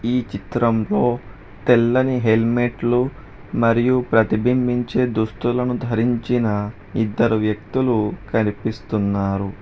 ఈ చిత్రంలో తెల్లని హెల్మెట్లు మరియు ప్రతిబింబించే దుస్తులను ధరించిన ఇద్దరు వ్యక్తులు కనిపిస్తున్నారు.